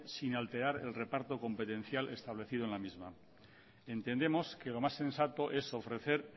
sin alterar el reparto competencial establecido en la misma entendemos que lo más sensato es ofrecer